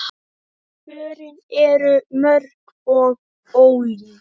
Svörin eru mörg og ólík.